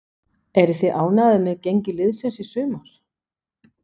Eruð þið ánægðir með gengi liðsins í sumar?